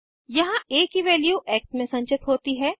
यहाँ आ की वैल्यू एक्स में संचित होती है